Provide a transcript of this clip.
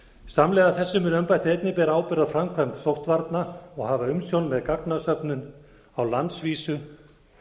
samhliða þessu mun embættið einnig bera ábyrgð á framkvæmd sóttvarna og hafa umsjón með gagnasöfnum á landsvísu